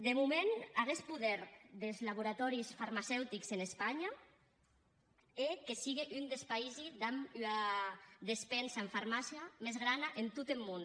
de moment aguest poder des laboratòris farmaceutics en espanha hè que sigue un des païsi damb ua despensa en farmàcia mès grana en tot eth mon